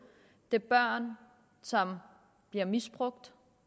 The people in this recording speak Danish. det er børn som bliver misbrugt